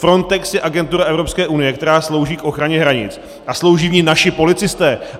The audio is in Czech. Frontex je agentura Evropské unie, která slouží k ochraně hranic, a slouží v ní naši policisté.